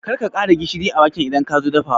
Karka ƙara gishiri a waken idan kazo dafawa